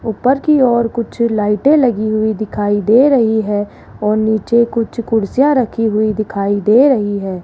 ऊपर की और कुछ लाइटें लगी हुई दिखाई दे रही है और नीचे कुछ कुर्सियां रखी हुई दिखाई दे रही है।